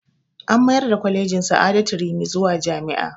An mayar da kwalejin sa'adatu rimi zuwa jami'a